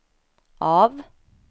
av